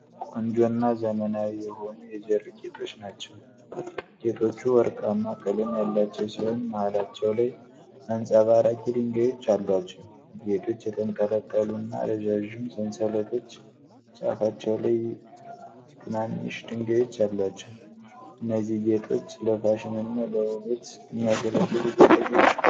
ቆንጆና ዘመናዊ የሆኑ የጆሮ ጌጦችን ናቸው ። ጌጦቹ ወርቃማ ቀለም ያላቸው ሲሆን መሃላቸው ላይ አንጸባራቂ ድንጋዮች አሏቸው። ጌጦቹ የተንጠለጠሉ እና ረዣዥም ሰንሰለቶች ጫፋቸው ላይ ትናንሽ ድንጋዮች አሏቸው። እነዚህ ጌጦች ለፋሽንና ለውበት የሚያገለግሉ ጌጣጌጦች ናቸው።